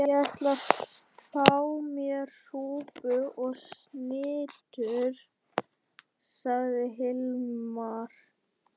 Ég ætla að fá mér súpu og snittur, sagði Hilmar.